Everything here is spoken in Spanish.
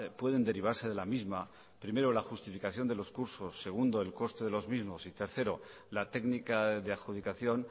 pueden derivarse de la misma primero la justificación de los cursos segundo el coste de los mismos y tercero la técnica de adjudicación